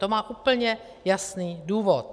To má úplně jasný důvod.